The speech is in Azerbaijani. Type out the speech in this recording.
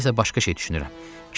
İndi isə başqa şey düşünürəm.